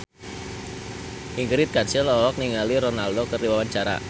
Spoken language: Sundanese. Ingrid Kansil olohok ningali Ronaldo keur diwawancara